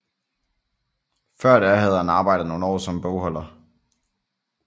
Før da havde han arbejdet nogle år som bogholder